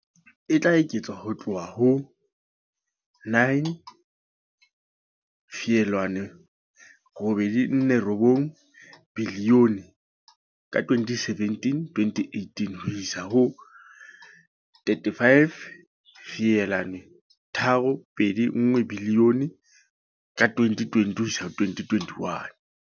E tla eketswa ho tloha ho R9.849 bilione ka 2017-18 ho isa ho R35.321 bilione ka 2020-2021.